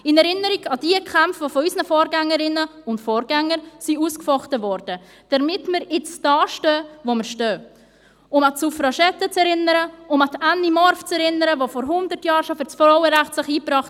In Erinnerung an jene Kämpfe, welche von unseren Vorgängerinnen und Vorgängern ausgefochten wurden, damit wir jetzt stehen, wo wir stehen: Um an die Suffragetten zu erinnern, um an Anny Morf zu erinnern, die sich bereits vor 100 Jahren für das Frauenstimmrecht einbrachte;